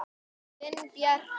Þinn Bjarki.